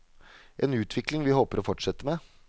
En utvikling vi håper å fortsette med.